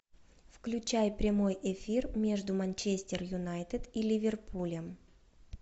включай прямой эфир между манчестер юнайтед и ливерпулем